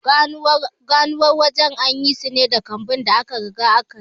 Ganuwar waje an yi su ne da kambun da aka riga aka yi.